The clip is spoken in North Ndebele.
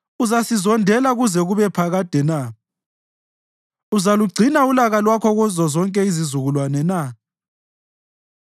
Uzasizondela kuze kube phakade na? Uzalugcina ulaka lwakho kuzozonke izizukulwane na?